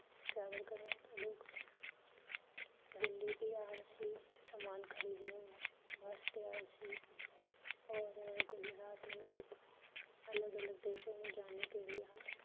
travel ਕਰਨੇ ਲੋਗ ਦਿਲੀ ਵੀ ਆਏ ਸੀ ਸਮਾਨ ਖਰੀਦਨੇ ਵਾਸਤੇ ਆਏ ਸੀ ਔਰ ਗੁਜਰਾਤ ਮੇਂ ਅਲਗ ਅਲਗ ਦੇਸ਼ੋਂ ਮੇਂ ਜਾਨੇ ਕੇ ਲਿਏ ਹਮ travel ਕਰੇਂ ਲੋਗ